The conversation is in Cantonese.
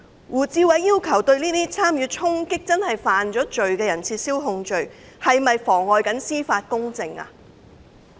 胡志偉議員要求撤銷參與衝擊的真正犯罪人士的控罪，是否妨礙司法公正呢？